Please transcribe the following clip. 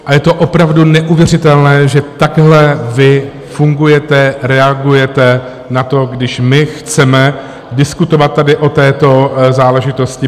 A je to opravdu neuvěřitelné, že takhle vy fungujete, reagujete na to, když my chceme diskutovat tady o této záležitosti.